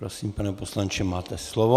Prosím, pane poslanče, máte slovo.